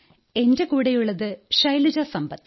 എന്റെ കൂടെയുള്ളത് ശൈലജ സമ്പത്ത്